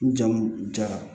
N jamu jara